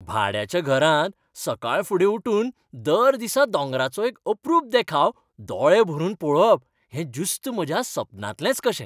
भाड्याच्या घरांत सकाळफुडें उठून दर दिसा दोंगरांचो एक अपरूप देखाव दोळे भरून पळोवप हें ज्युस्त म्हज्या सपनांतलेंच कशें.